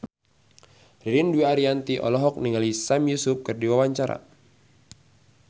Ririn Dwi Ariyanti olohok ningali Sami Yusuf keur diwawancara